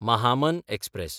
Mahamana express